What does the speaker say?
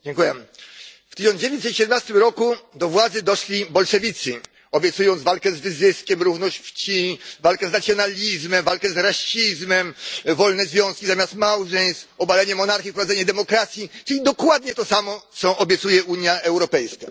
Panie Przewodniczący! W 1917 r. do władzy doszli bolszewicy, obiecując walkę z wyzyskiem, równość płci, walkę z nacjonalizmem, walkę z rasizmem, wolne związki zamiast małżeństw, obalenie monarchii, wprowadzenie demokracji, czyli dokładnie to samo, co obiecuje Unia Europejska.